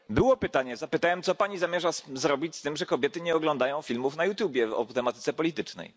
Było pytanie zapytałem, co Pani zamierza zrobić z tym, że kobiety nie oglądają filmów o tematyce politycznej